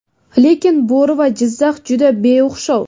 Lekin bo‘ri va Jizzax, juda beo‘xshov.